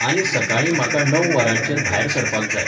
आनी सकाळीं म्हाका णव वरांचेर भायर सरपाक जाय.